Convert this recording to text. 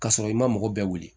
Ka sɔrɔ i ma mɔgɔ bɛɛ wili